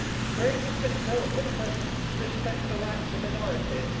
Croatia has been told that it must respect the rights of minorities.